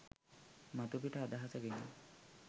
මතුපිට අදහස ගෙන